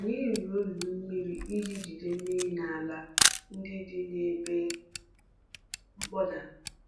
Anyị rụrụ olulu mmiri iji jide mmiri n’ala ndị dị n’ebe mkpọda.